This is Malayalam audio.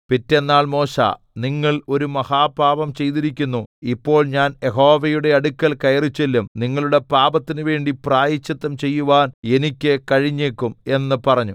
പിറ്റെന്നാൾ മോശെ നിങ്ങൾ ഒരു മഹാപാപം ചെയ്തിരിക്കുന്നു ഇപ്പോൾ ഞാൻ യഹോവയുടെ അടുക്കൽ കയറിച്ചെല്ലും നിങ്ങളുടെ പാപത്തിനുവേണ്ടി പ്രായശ്ചിത്തം ചെയ്യുവാൻ എനിക്ക് കഴിഞ്ഞേക്കും എന്ന് പറഞ്ഞു